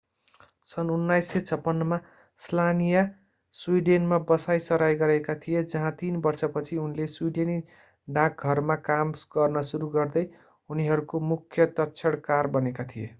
सन्‌ 1956 मा स्लानिया स्वीडेनमा बसाईंसराई गरेका थिए जहाँ तीन वर्षपछि उनले स्वीडेनी डाकघरमा काम गर्न सुरु गर्दै उनीहरूको मुख्य तक्षणकार बनेका थिए।